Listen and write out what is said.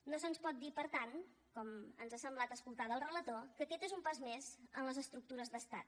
no se’ns pot dir per tant com ens ha semblat escoltar del relator que aquest és un pas més en les estructures d’estat